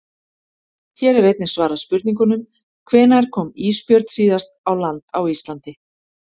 Hér er einnig svarað spurningunum: Hvenær kom ísbjörn síðast á land á Íslandi?